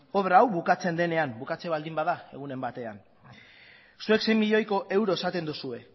obra hau bukatzen denean bukatzen baldin bada egunen batean zuek sei milioiko euro esaten duzue